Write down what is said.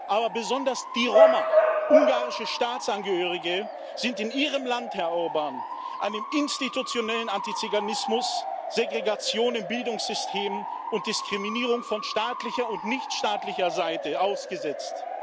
Aber besonders die Roma, ungarische Staatsangehörige, sind in Ihrem Land, Herr Orbán, einem institutionellen Antiziganismus, Segregation im Bildungssystem und Diskriminierung von staatlicher und nichtstaatlicher Seite ausgesetzt.